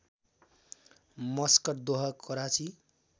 Muscat Doha Karachi